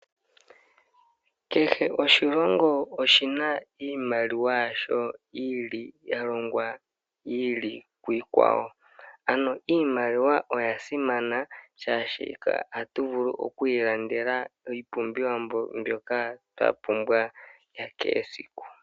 Kehe oshilongo oshina iimaliwa yasho yi ili ya longwa yi ili kuyi kwawo, ano iimaliwa oya simana molwashono otatu vulu okwiilandela iipumbiwa mbyoka twa pumbwa ya kehe esiku.